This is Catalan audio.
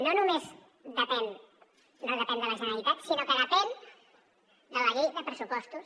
no només no depèn de la generalitat sinó que depèn de la llei de pressupostos